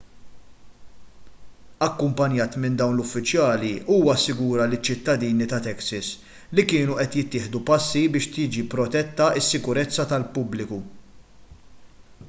akkumpanjat minn dawn l-uffiċjali huwa assigura liċ-ċittadini ta' texas li kienu qed jittieħdu passi biex tiġi protetta s-sikurezza tal-pubbliku